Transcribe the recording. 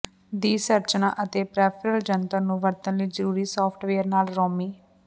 ਦੀ ਸੰਰਚਨਾ ਅਤੇ ਪੈਰੀਫਿਰਲ ਜੰਤਰ ਨੂੰ ਵਰਤਣ ਲਈ ਜ਼ਰੂਰੀ ਸਾਫਟਵੇਅਰ ਨਾਲ ਰੋਮੀ